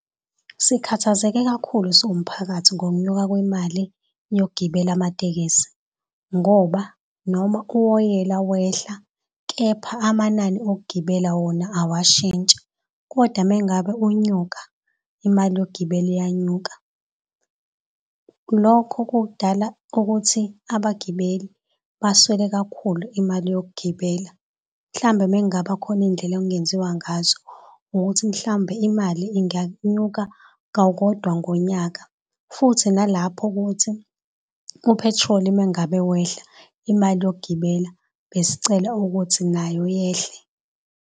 Sikhathazeke kakhulu siwumphakathi ngokunyuka kwemali yokugibela amatekisi ngoba noma uwoyela wehla, kepha amanani okugibela wona owashintshi kodwa mengabe unyuka imali yokugibela iyanyuka. Lokho kudala ukuthi abagibeli baswele kakhulu imali yokugibela. Mhlawumbe mengaba khona indlela okungenziwa ngazo ukuthi mhlawumbe imali inganyuka kawodwa ngonyaka, futhi nalapho ukuthi uphethiloli uma ngabe wehla imali yokugibela, besicela ukuthi nayo yehle.